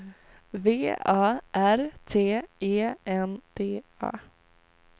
V A R T E N D A